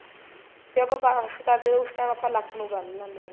ਫ਼ੇਰ ਆਪਾਂ wash ਕਰਦੇ ਉਸ time ਆਪਾਂ ਲੱਕ ਨੂੰ ਬੰਨ ਲੈਣੇ ਆ